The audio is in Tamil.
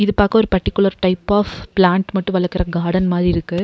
பாக்க ஒரு பர்ட்டிகுலர் டைப் ஆஃப் ப்ளாண்ட்டு மட்டு வளக்குற காடன் மாரி இருக்கு.